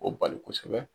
O bali kosɛbɛ